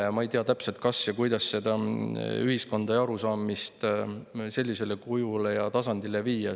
Ja ma ei tea täpselt, kuidas ühiskonda ja arusaamist sellisele tasandile viia.